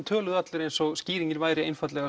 töluðu allir eins og skýringin væri